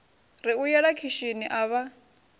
ri u yela khishini avha